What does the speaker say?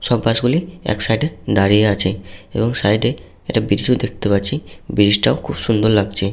সব বাস গুলি এক সাইড এ দাঁড়িয়ে আছে এবং সাইড এ একটা ও দেখতে পাচ্ছি ব্রীজ টাও খুব সুন্দর লাগছে।